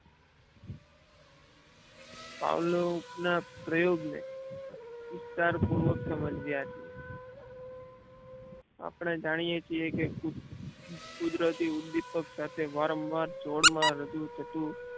Pavlov ના પ્રયોગ ને વિસ્તાર પૂર્વક સમજ્યા છીએ આપને જાણીએ છીએ કે કુદરતી ઉપ્દીપક સાથે વારંવાર જોડ માં રજુ થતું